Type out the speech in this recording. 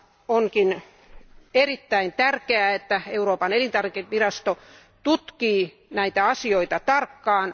On erittäin tärkeää, että Euroopan elintarvikevirasto tutkii näitä asioita tarkkaan.